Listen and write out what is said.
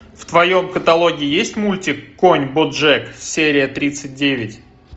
в твоем каталоге есть мультик конь боджек серия тридцать девять